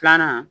Filanan